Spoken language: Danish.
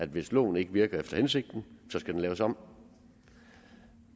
hvis loven ikke virker efter hensigten skal den laves om